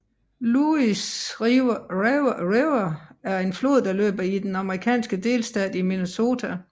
Louis River er en flod der løber i den amerikanske delstat Minnesota